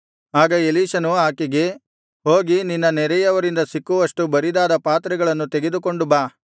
ಆಗ ಎಲೀಷನು ಆಕೆಗೆ ಹೋಗಿ ನಿನ್ನ ನೆರೆಯವರಿಂದ ಸಿಕ್ಕುವಷ್ಟು ಬರಿದಾದ ಪಾತ್ರೆಗಳನ್ನು ಕೇಳಿ ತೆಗೆದುಕೊಂಡು ಬಾ